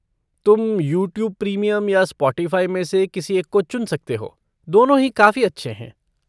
तुम YouTube premium या Spotify में से किसी एक को चुन सकते हो, दोनों ही काफ़ी अच्छे हैं।